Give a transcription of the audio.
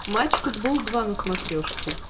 матч футбол два на смотрешке